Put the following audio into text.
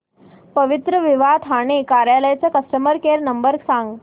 पवित्रविवाह ठाणे कार्यालय चा customer care number सांग